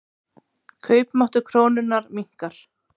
Kaupmáttur krónunnar minnkar.